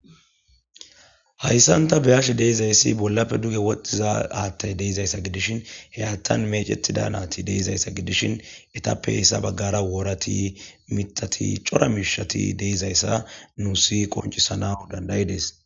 hayissanni taa be'ashshe dizayissi bollape duge woththiza haththeyi dizayissa gidishshinni hee haththanni meccetida na'ati de'izayissi gidishshin etappe hesa bagara worati ,miththati cora mishshati de'izayissa nussi wonccisanawi danida'idess.